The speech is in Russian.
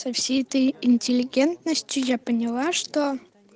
о всей этой интеллигентностью я поняла что